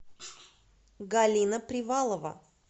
галина привалова